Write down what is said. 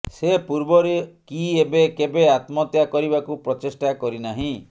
ସେ ପୂର୍ବରୁ କି ଏବେ କେବେ ଆତ୍ମହତ୍ୟା କରିବାକୁ ପ୍ରଚେଷ୍ଟା କରିନାହିଁ